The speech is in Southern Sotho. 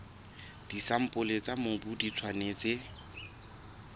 disampole tsa mobu di tshwanetse